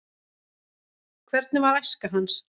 hvernig var æska hans